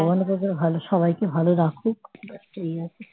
ভগবানের কাছে ভালো সবাইকে ভালো রাখুক এই আরকি